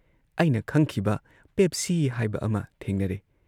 ꯑꯩꯅ ꯈꯪꯈꯤꯕ 'ꯄꯦꯞꯁꯤ' ꯍꯥꯏꯕ ꯑꯃ ꯊꯦꯡꯅꯔꯦ ꯫